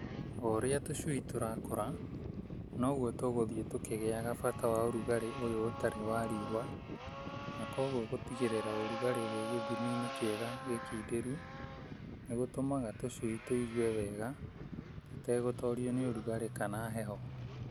O ũrĩa tũcui tũrakũra, noguo tũgũthiĩ tũkĩagaga bata wa ũrugarĩ ũyũ ũtarĩ wa riũa, na kwoguo gũtigĩrĩra ũrugarĩ wĩ gĩthimi-ini kĩega gĩkindĩru nĩgũtũmaga tũcui tũigue wega tũtegũtorio nĩ ũrugarĩ kana heho.